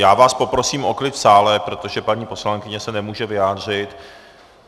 Já vás poprosím o klid v sále, protože paní poslankyně se nemůže vyjádřit.